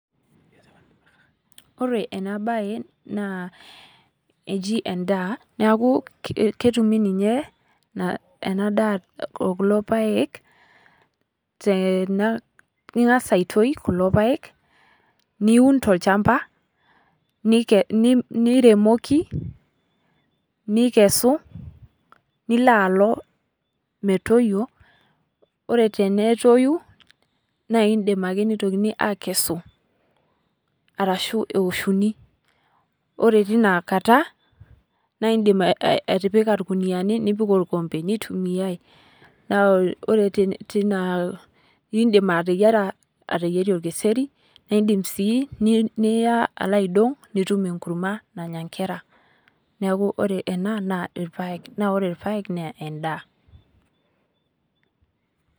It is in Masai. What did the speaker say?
Koree ena bae naa eji edaa, neeku ketumi ninye ena daa okulo paek. Ing'as aitoi kulo paek, niun tolchamba, niremoki nikesu nilo alo metoyio, ore tene toyu na idim ake nitokini akesu arashu eoshuni. Ore tina kata naidim atipika irkuniani nipik orkombe nitumiyai. Naa ore tina idim ateyiara orkiseri idim sii niyaa alo aidong' nitum enkurma nanya nkera. Neeku ore kuna na irpaek naa ore irpaek naa eda.